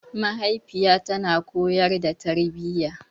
Mahaifiya tana koyar da tarbiyya.